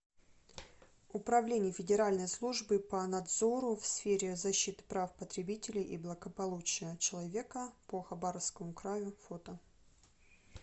управление федеральной службы по надзору в сфере защиты прав потребителей и благополучия человека по хабаровскому краю фото